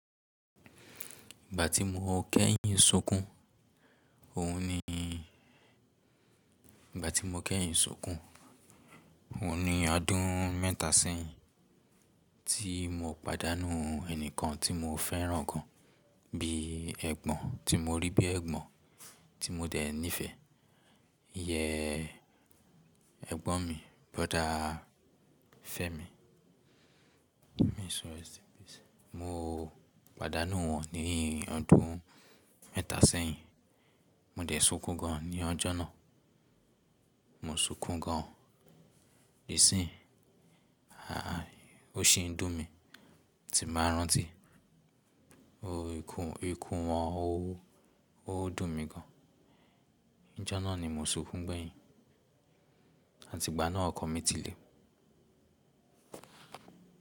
Ìgbà tí mo kẹ́yìn sunkún, òhun ni ìgbà tí mo kẹ́yìn sunkún, òhun ni ọdún mẹ́ta sẹ́yìn tí mo pàdánù ẹni kan tí mo fẹ́ràn gan, bí ẹ̀gbọ́n tí mo rí bí ẹ̀gbọ́n tí mo dẹ̀ nífẹ̀. Yẹ ẹ̀gbọ́n mi, brother Fẹ́mi, may his soul rest in peace. Mo pàdánù won ní ọdún mẹ́ta sẹ́yìn. Mo dẹ̀ sunkún gan ní ọjọ́ náà. Mo sunkún gan, ìsín, aàh, ó sì ń dùn mí, tí bàá rántí. O ikú, ikú ọ̀un, ó dùn mí gan. Ọjọ́ náà ni mo sunkún gbẹ̀yìn àti ìgbà náà ọkọ̀ mi ti lé.